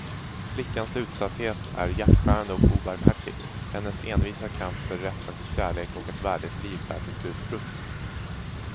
Flickans utsatthet är hjärtskärande och obarmhärtig, men hennes envisa kamp för rätten till kärlek och ett värdigt liv bär till slut frukt.